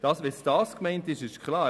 Wenn das gemeint ist, ist es klar.